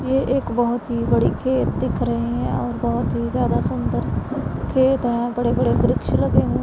ये एक बहुत ही बड़े खेत दिख रहे हैं और बहुत ही ज्यादा सुंदर खेत हैं बड़े-बड़े वृक्ष लगे हुए --